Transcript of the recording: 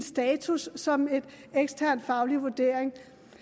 status som en ekstern faglig vurdering